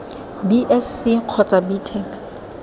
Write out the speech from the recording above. b sc kgotsa b tech